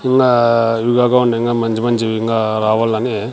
ఇంగా ఇవికాకుండా మంచి మంచివి ఇంగా రావాలని.